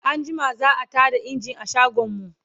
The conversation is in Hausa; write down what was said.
anjima za'a Tada engine a shagon mu